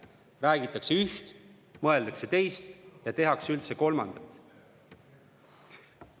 Räägitakse üht, mõeldakse teist ja tehakse üldse kolmandat.